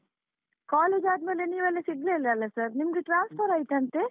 College ಆದ್ಮೇಲೆ ನೀವೆಲ್ಲ ಸಿಗ್ಲೇ ಇಲ್ಲ ಅಲ sir , ನಿಮ್ಗೆ transfer ಆಯ್ತಂತೆ?